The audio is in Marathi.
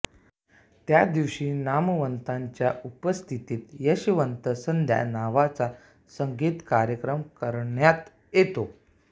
त्या दिवशी नामवंतांच्या उपस्थितीत यशवंत संध्या नावाचा संगीत कार्यक्रम करण्यात येतो